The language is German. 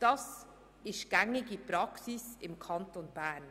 Das ist gängige Praxis im Kanton Bern.